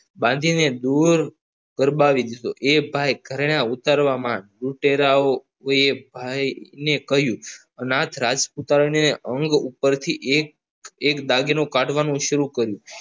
બાંધીને દૂર દબાવી દીધો એ ભાઈ ઘરેણા ઉતરવા માંડ લુટેરાઓ કોઈએ ભાઈને કહ્યું અને આ જ રાજપુત ઉપરના અંગ ઉપરથી એક દાગીનો કાઢવાનું શરૂ કર્યું.